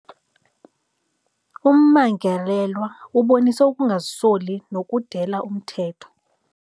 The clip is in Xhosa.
Ummangalelwa ubonise ukungazisoli nokudela umthetho.